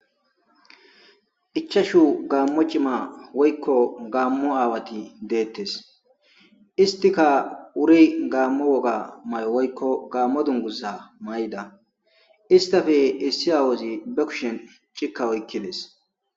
ichashu gaammo cima woykko gaammo aawati deettes istika uri gaammo woga may7o woykko gaammo dungusa may7da istafe issi aawozi bukushen cikka oykkides